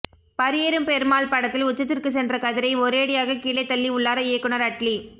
பரியேறும் பெருமாள் படத்தில் உச்சத்திற்கு சென்ற கதிரை ஒரேடியாக கீழே தள்ளி உள்ளார் இயக்குனர் அட்லி